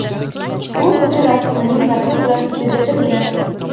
U ko‘cha rassomining rasmi bilan bezatilgan.